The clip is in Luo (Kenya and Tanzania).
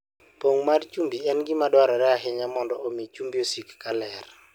Pong' mar chumbi en gima dwarore ahinya mondo omi chumbi osik ka ler.